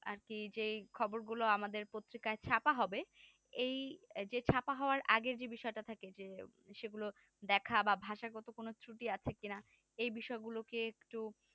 আর কি যেই খবর গুলো আমাদের পত্রিকায় ছাপা হবে এই যে ছাপা হবার আগে যে বিষয়টা থাকে যে সেগুলোর দেখা বা ভাষা গত কোনো ত্রুটি আছে কিনা এই বিষয় গুলোকে একটু